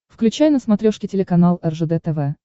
включай на смотрешке телеканал ржд тв